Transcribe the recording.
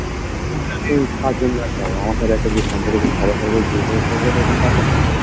যে হোতু কার জন্য যেত আমার সাথে যে একটা সম্পর্ক ছিল সবার সাথে তো পারবে না